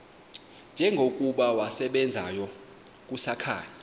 njengokuba wasebenzayo kusakhanya